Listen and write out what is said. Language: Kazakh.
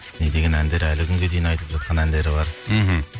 не деген әндер әлі күнге дейін айтылып жатқан әндері бар мхм